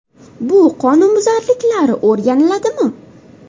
Bu qonunbuzarliklar o‘rganiladimi?